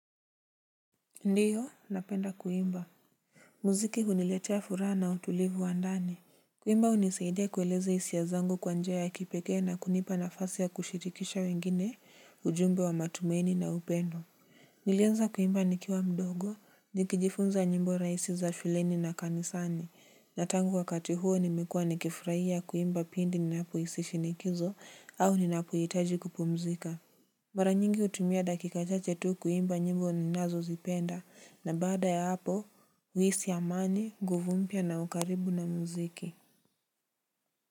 Ndiyo napenda kuimba. Muziki huniletea furaha na utulivu wa ndani. Kuimba hunisaidia kueleza hisia zangu kwa njia ya kipekee na kunipa nafasi ya kushirikisha wengine ujumbe wa matumaini na upendo. Nilianza kuimba nikiwa mdogo nikijifunza nyimbo rahisi za shuleni na kanisani na tangu wakati huo nimekua nikifurahia kuimba pindi ninapo hisi shinikizo au ninapohitaji kupumzika. Mara nyingi hutumia dakika chachw tu kuimba nyimbo ni nazo zipenda na bada ya hapo huisi amani, nguvu mpya na ukaribu na muziki.